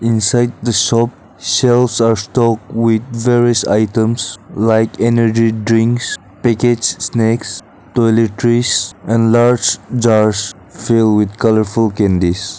inside the shop shelves are stocked with various items like energy drinks packets snacks toiletries and large jars fill with colourful candies.